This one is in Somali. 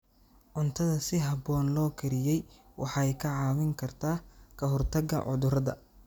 Cuntada si habboon loo kariyey waxay kaa caawin kartaa ka hortagga cudurrada.